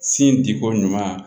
Sin di ko ɲuman